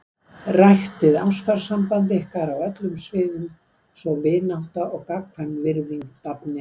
Ræktið ástarsamband ykkar á öllum sviðum svo vinátta og gagnkvæm virðing dafni.